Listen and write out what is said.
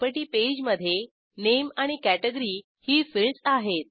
property पेजमधे नामे आणि कॅटेगरी ही फिल्डस आहेत